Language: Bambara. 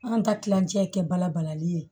An ta kilancɛ kɛ bala balalen ye